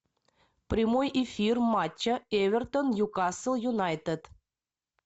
прямой эфир матча эвертон ньюкасл юнайтед